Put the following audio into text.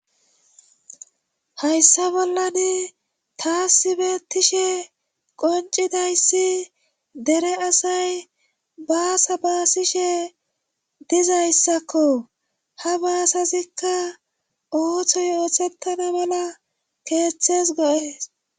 hayssa bolladi taasibetishe qoncidayssi dere asay baasa baasishe dizayssakko ha baasazikka ooththo y yoothettana mala keeththes go7es